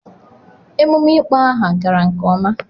Emume ịkpọ aha gara nke ọma.